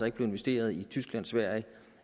ikke blev investeret i tyskland sverige